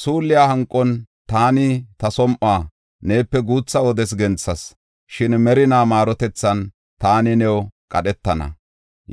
Suulliya hanqon taani ta som7uwa neepe guutha wodes genthas. Shin merinaa maarotethan taani new qadhetana”